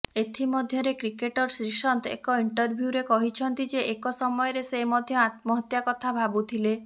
ଏଥିମଧ୍ୟରେ କ୍ରିକେଟର ଶ୍ରୀସନ୍ଥ ଏକ ଇଣ୍ଟରଭ୍ୟୁରେ କହିଛନ୍ତି ଯେ ଏକ ସମୟରେ ସେ ମଧ୍ୟ ଆତ୍ମହତ୍ୟା କଥା ଭାବୁଥିଲେ